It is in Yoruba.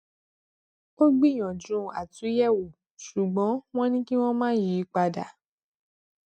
ó gbìyànjú àtúnyẹwò ṣùgbọn wọn ní kí wọn má yí i padà